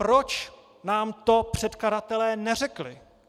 Proč nám to předkladatelé neřekli?